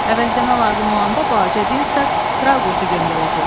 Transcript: Əvəzləmə lazım olanda balaca Dinstak Traqotu göndərəcək.